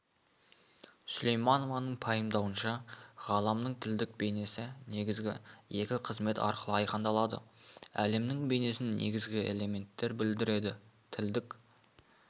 сүлейменованың пайымдауынша ғаламның тілдік бейнесі негізгі екі қызмет арқылы айқындалады әлемнің бейнесін негізгі элементтер білдіреді тілдік